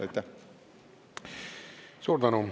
Suur tänu!